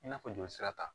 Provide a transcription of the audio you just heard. I n'a fɔ joli sira ta